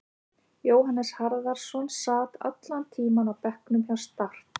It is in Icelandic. Jóhannes Harðarson sat allan tímann á bekknum hjá Start.